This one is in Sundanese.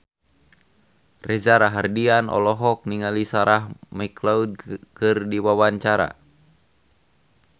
Reza Rahardian olohok ningali Sarah McLeod keur diwawancara